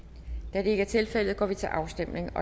da det ikke er tilfældet går vi til afstemning